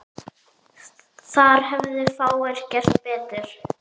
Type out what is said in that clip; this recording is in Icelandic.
Þar hefðu fáir gert betur.